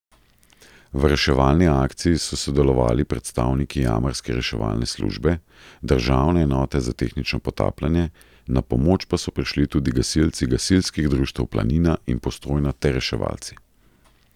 V reševalni akciji so sodelovali predstavniki jamarske reševalne službe, državne enote za tehnično potapljanje, na pomoč pa so prišli tudi gasilci gasilskih društev Planina in Postojna ter reševalci.